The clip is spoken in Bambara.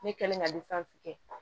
Ne kɛlen ka kɛ